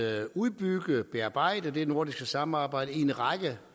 at udbygge og bearbejde det nordiske samarbejde i en række